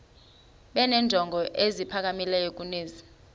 benenjongo eziphakamileyo kunezi